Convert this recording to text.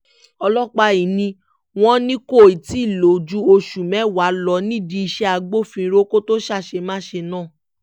ọlọ́pàá yìí ni wọ́n ní kó tì í lò ju oṣù mẹ́wàá lọ nídìí iṣẹ́ agbófinró kó tóó ṣàṣemáṣe náà